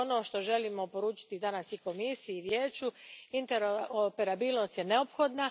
To je ono što želimo poručiti danas i Komisiji i Vijeću interoperabilnost je neophodna.